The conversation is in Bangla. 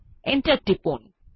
এন্টার টিপুন